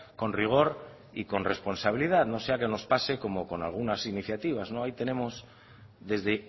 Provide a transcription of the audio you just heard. con rigor y con responsabilidad no sea que nos pase como con algunas iniciativas ahí tenemos desde